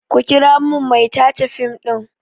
Ku kira min mai tace fim ɗin!